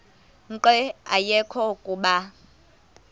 nqe ayekho kuba